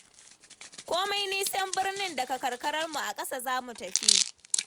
Komai nisan birnin daga karkararmu, a ƙasa za mu tafi.